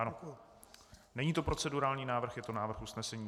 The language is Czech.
Ano, není to procedurální návrh, je to návrh usnesení.